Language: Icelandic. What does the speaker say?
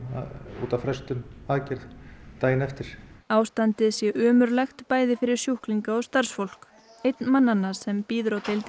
út af frestun aðgerðar daginn eftir ástandið sé ömurlegt bæði fyrir sjúklinga og starfsfólk einn mannanna sem bíður á deildinni